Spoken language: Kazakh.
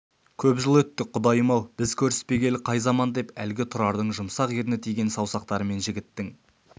көп жыл өтті құдайым-ау біз көріспегелі қай заман деп әлгі тұрардың жұмсақ ерні тиген саусақтарымен жігіттің